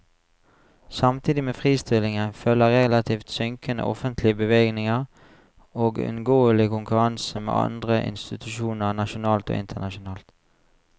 Samtidig med fristillingen følger relativt synkende offentlige bevilgninger og uunngåelig konkurranse med andre institusjoner nasjonalt og internasjonalt.